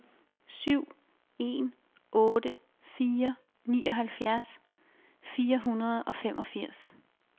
syv en otte fire nioghalvfjerds fire hundrede og femogfirs